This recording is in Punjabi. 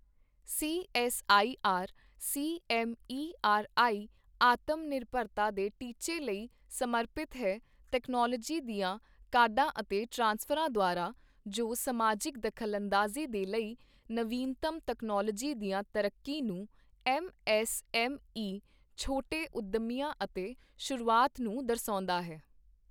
ਸੀਐਸਆਈਆਰ ਸੀਐਮਈਆਰਆਈ ਆਤਮ ਨਿਰਭਰਤਾ ਦੇ ਟੀਚੇ ਲਈ ਸਮਰਪਿਤ ਹੈ ਤਕਨਾਲੋਜੀ ਦੀਆਂ ਕਾਢਾਂ ਅਤੇ ਟ੍ਰਾਂਸਫਰਾਂ ਦੁਆਰਾ, ਜੋ ਸਮਾਜਿਕ ਦਖਲਅੰਦਾਜ਼ੀ ਦੇ ਲਈ ਨਵੀਨਤਮ ਤਕਨਾਲੋਜੀ ਦੀਆਂ ਤਰੱਕੀ ਨੂੰ, ਐਮਐਸਐਮਈ, ਛੋਟੇ ਉੱਦਮੀਆਂ ਅਤੇ ਸ਼ੁਰੂਆਤ ਨੂੰ ਦਰਸਾਉਂਦਾ ਹੈ।